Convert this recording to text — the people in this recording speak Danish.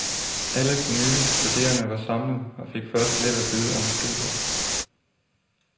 Alle de nye studerende var samlet og fik først lidt at vide om studiet.